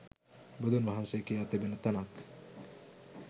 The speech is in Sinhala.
බුදුන් වහන්සේ කියා තිබෙන තැනක්